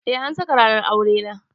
Eh an saka ranar aure na.